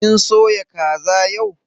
Kin soya kaza yau?